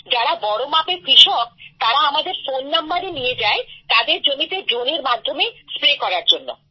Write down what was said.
যারা বড় মাপের কৃষক তারা আমাদের ফোন নাম্বারও নিয়ে যায় তাদের জমিতে ড্রোনের মাধ্যমে স্প্রে করার জন্য